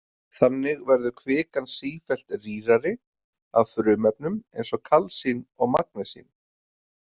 Þannig verður kvikan sífellt rýrari af frumefnum eins og kalsín og magnesín.